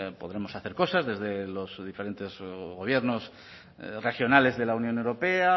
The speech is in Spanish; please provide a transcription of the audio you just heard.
podremos hacer cosas desde los diferentes gobiernos regionales de la unión europea